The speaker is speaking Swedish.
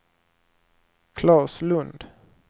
Claes Lund